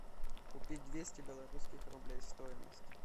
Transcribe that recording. купить двести белорусских рублей стоимость